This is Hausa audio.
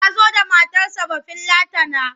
Ya zo da matarsa Bafillatana.